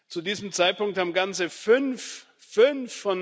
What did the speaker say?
Zu diesem Zeitpunkt haben ganze fünf fünf!